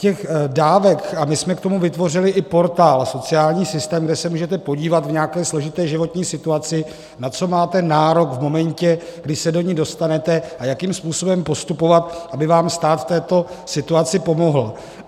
Těch dávek - a my jsme k tomu vytvořili i portál Sociální systém, kde se můžete podívat v nějaké složité životní situaci, na co máte nárok v momentě, kdy se do ní dostanete, a jakým způsobem postupovat, aby vám stát v této situaci pomohl.